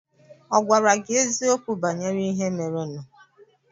Ọ̀ gwara gị eziokwu banyere ihe merenụ?